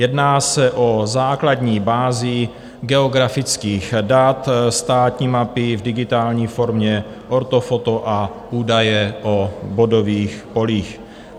Jedná se o základní bázi geografických dat, státní mapy v digitální formě, ortofoto a údaje o bodových polích.